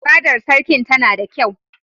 Fadar Sarkin tana da kyau.